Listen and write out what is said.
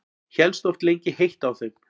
Hélst oft lengi heitt á þeim.